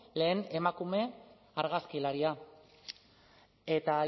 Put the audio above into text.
lehen emakume argazkilaria eta